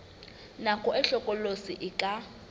nako e hlokolosi e ka